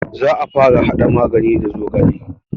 Za a fara haɗa magani da zogale